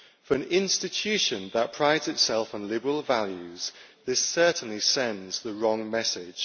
For an institution that prides itself on liberal values, this certainly sends the wrong message.